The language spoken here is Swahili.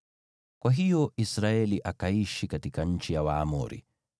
Kwa hiyo Israeli akaishi katika nchi ya Waamori.